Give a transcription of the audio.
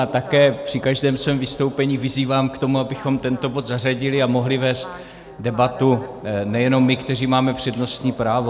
A také při každém svém vystoupení vyzývám k tomu, abychom tento bod zařadili a mohli vést debatu nejenom my, kteří máme přednostní právo.